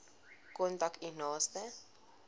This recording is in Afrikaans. kontak u naaste